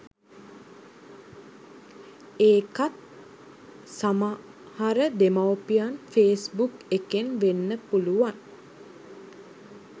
එකක් සමහර දෙමවුපියන් ෆේස් බුක් එකෙන් වෙන්න පුළුවන්